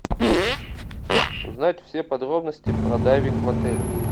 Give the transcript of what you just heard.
узнать все подробности про дайвинг в отеле